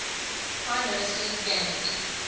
prime ministers gained